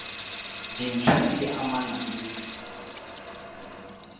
dintlha tse di amanang le